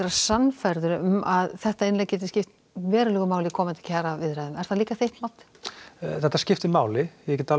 sannfærður um að þetta innlegg gæti skipt verulegu máli inn komandi kjaraviðræður er það líka þitt mat þetta skiptir máli